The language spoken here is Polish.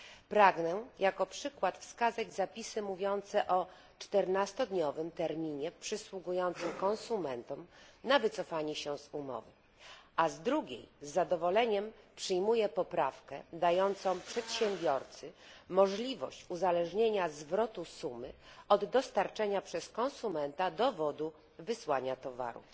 Pragnę jako przykład wskazać zapisy mówiące o 14 dniowym terminie przysługującym konsumentom na wycofanie się z umowy, a z drugiej z zadowoleniem przyjmuję poprawkę dającą przedsiębiorcy możliwość uzależnienia zwrotu sumy od dostarczenia przez konsumenta dowodu wysłania towaru.